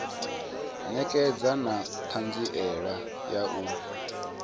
ṋekedza na ṱhanziela ya u